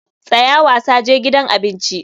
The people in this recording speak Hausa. Tsaya wasa, je gidan abinci.